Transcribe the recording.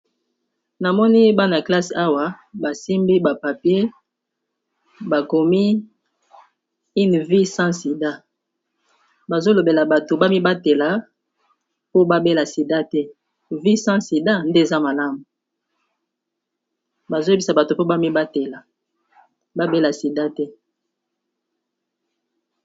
na moni bana ya classe awa basimbi bapapier bakomi 1 v s sida bazolobela bato bamibatela po babela sida te v s sida nde eza malamu bazoyebisa bato mpo bamibatela babela sida te